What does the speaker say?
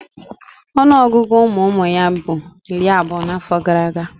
Ọnụọgụgụ ụmụụmụ ya bu iri abuo n'afo gara aga.